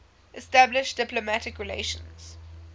established diplomatic relations